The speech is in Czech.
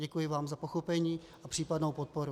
Děkuji vám za pochopení a případnou podporu.